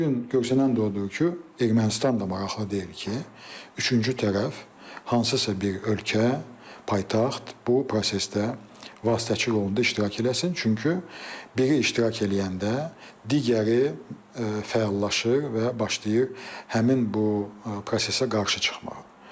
Bu gün görünən də odur ki, Ermənistan da maraqlı deyil ki, üçüncü tərəf, hansısa bir ölkə, paytaxt bu prosesdə vasitəçi rolunda iştirak eləsin, çünki biri iştirak eləyəndə digəri fəallaşır və başlayır həmin bu prosesə qarşı çıxmağa.